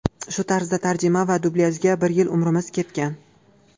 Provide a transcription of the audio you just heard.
Shu tarzda tarjima va dublyajga bir yil umrimiz ketgan.